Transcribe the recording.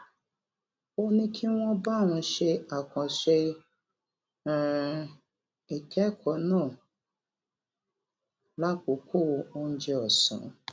ó ní kí wón bá òun ṣe àkànṣe um ìkékòó náà lákòókò oúnjẹ òsán